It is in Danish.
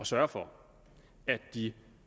sørge for at de